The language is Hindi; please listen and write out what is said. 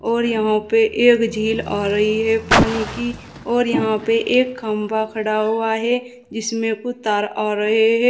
और यहां पे एक झील आ रही है पानी की और यहां पे एक खंभा खड़ा हुआ है जिसमें कुछ तार आ रहे है।